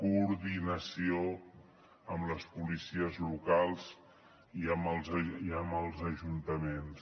coordinació amb les policies locals i amb els ajuntaments